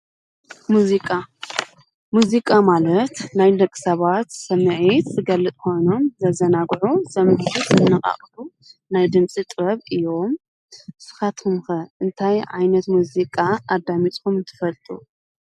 ሙዚቃ፡- ሙዚቃ ማለት ናይ ደቂ ሰባት ስምዒት ዝገልፅ ኾይኑ ዘዘናግዑን ስሚዒት ዘነቃቅሑ ናይ ድምፂ ጥበብ እዮም፡፡ ንስኻትኩም ኸ እንታይ ዓይነት ሙዚቃ ኣዳሚፅኩም ትፈልጡ?